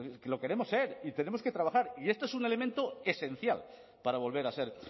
lo queremos ser y tenemos que trabajar y esto es un elemento esencial para volver a ser